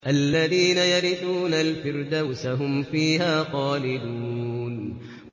الَّذِينَ يَرِثُونَ الْفِرْدَوْسَ هُمْ فِيهَا خَالِدُونَ